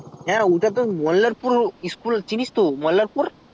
হ্যাঁ ঐটা তো মল্লারপুর school চিনিস তো মল্লারপুর